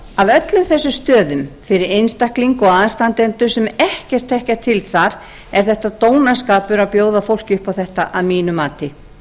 af öllum þessum stöðum fyrir einstakling og aðstandendur sem ekkert þekkja til þar er þetta dónaskapur að bjóða fólki upp á þetta að mínu mati